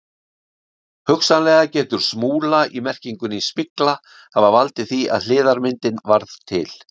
Hugsanlega getur smúla í merkingunni smygla hafa valdið því að hliðarmyndin varð til.